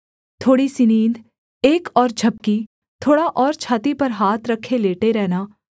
थोड़ी सी नींद एक और झपकी थोड़ा और छाती पर हाथ रखे लेटे रहना